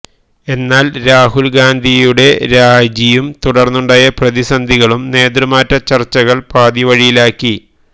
എന്നാല് രാഹുല് ഗാന്ധിയുടെ രാജിയും തുടര്ന്നുണ്ടായ പ്രതിസന്ധികളും നേതൃമാറ്റ ചര്ച്ചകള് പാതിവഴിയിലാക്കി